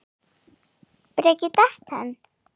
Breki: Datt hann?